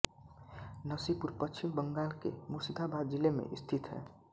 नसीपुर पश्चिम बंगाल के मुर्शिदाबाद जिले में स्थित है